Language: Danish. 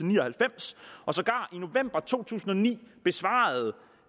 ni og halvfems og sågar i november to tusind og ni besvarede